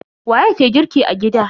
Waye ke girki a gida?